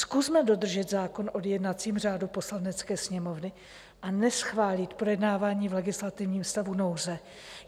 Zkusme dodržet zákon o jednacím řádu Poslanecké sněmovny a neschválit projednávání v legislativním stavu nouze.